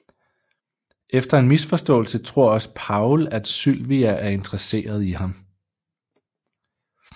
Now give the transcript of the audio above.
Etter en misforståelse tror også Powell at Sylvia er interesseret i ham